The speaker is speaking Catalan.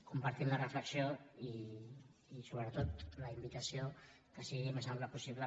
compartim la reflexió i sobretot la invitació que sigui el més ample possible